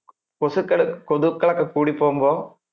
കോസുകള്~കൊതുകൾ ഒക്കെ കുടിപോകുമ്പോൾ.